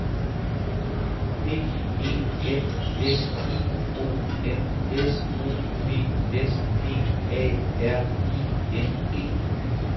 P E N S I O N S O P S P A R I N G